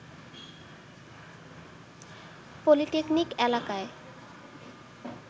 polytechnic এলাকায়